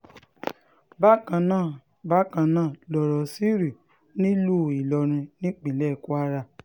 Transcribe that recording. bákan náà bákan náà lọ̀rọ̀ sì rí nílùú ìlọrin nípínlẹ̀ kwara